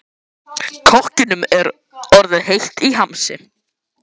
Kokkinum er orðið heitt í hamsi.